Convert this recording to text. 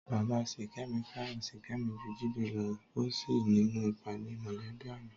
Bàbá Sìkẹ́mi fẹ́ràn Ṣìkẹ́mi ju Jídé lọ ó sì nínú ìpàdé mọ̀lẹ́bí àná